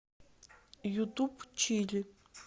ютуб чили